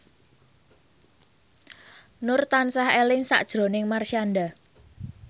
Nur tansah eling sakjroning Marshanda